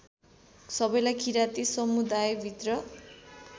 सबैलाई किराँती समुदायभित्र